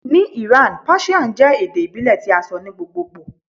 Ni Iran Persian jẹ ede ibile ti a sọ ni gbogbogbo